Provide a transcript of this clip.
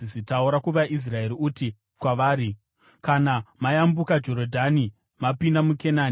“Taura kuvaIsraeri uti kwavari: ‘Kana mayambuka Jorodhani mapinda muKenani,